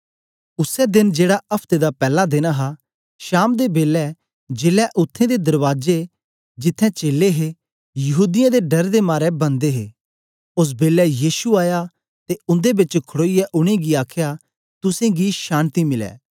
उसै देन जेड़ा अफ्ते दा पैला देन हा शाम दे बेलै जेलै उत्थें दे दरबाजे जिथें चेलें हे यहूदीयें दे डर दे मारे बन्द हे ओस बेलै यीशु आया ते उन्दे बेच खडोईयै उनेंगी आखया तुसेंगी शान्ति मिलै